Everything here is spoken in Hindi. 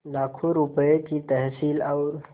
लाखों रुपये की तहसील और